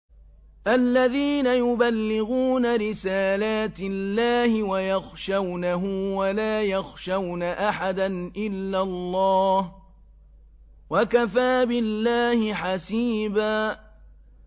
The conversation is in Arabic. الَّذِينَ يُبَلِّغُونَ رِسَالَاتِ اللَّهِ وَيَخْشَوْنَهُ وَلَا يَخْشَوْنَ أَحَدًا إِلَّا اللَّهَ ۗ وَكَفَىٰ بِاللَّهِ حَسِيبًا